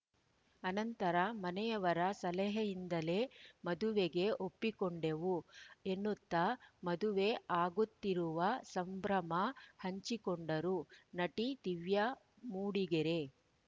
ಆನಂತರ ಮನೆಯವರ ಸಲಹೆಯಿಂದಲೇ ಮದುವೆಗೆ ಒಪ್ಪಿಕೊಂಡೆವು ಎನ್ನುತ್ತಾ ಮದುವೆ ಆಗುತ್ತಿರುವ ಸಂಭ್ರಮ ಹಂಚಿಕೊಂಡರು ನಟಿ ದಿವ್ಯಾ ಮೂಡಿಗೆರೆ